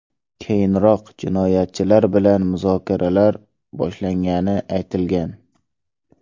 Keyinroq jinoyatchilar bilan muzokaralar boshlangani aytilgan.